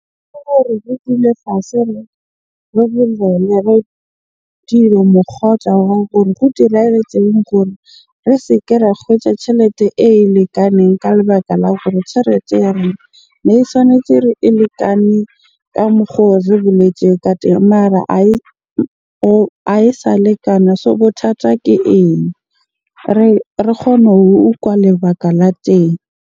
Re dule fatshe, re bolele re go diragetseng gore re se ke ra kgwetja tjhelete e lekaneng ka lebaka la gore tjhelete ya rona ne tshwanetse e lekane ka mokgo re boletseng ka teng mara ae sa lekana. So bothata ke eng? Re kgone ho utlwa lebaka la teng.